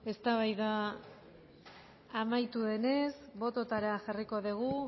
eztabaida amaitu denez botoetara jarriko dugu